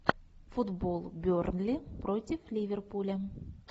футбол бернли против ливерпуля